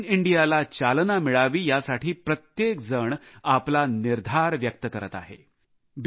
make in India ला चालना मिळावी यासाठी प्रत्येकजण आपला निर्धार व्यक्त करत आहे